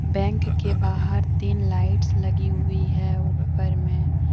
Bank के बाहर तीन लाइट्स लगी हुई है ऊपर में।